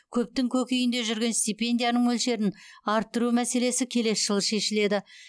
көптің көкейінде жүрген стипендияның мөлшерін арттыру мәселесі келесі жылы шешіледі